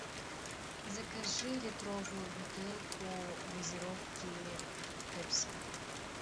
закажи литровую бутылку газировки пепси